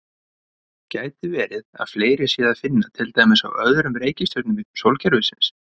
Gæti verið að fleiri sé að finna til dæmis á öðrum reikistjörnum sólkerfisins?